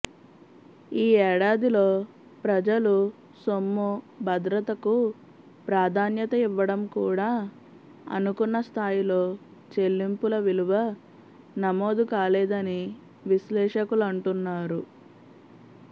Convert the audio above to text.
ఈ ఏడాదిలో ప్రజలు సొమ్ము భద్రతకు ప్రాధాన్యత ఇవ్వడం కూడా అనుకున్న స్థాయిలో చెల్లింపుల విలువ నమోదుకాలేదని విశ్లేషకులంటున్నారు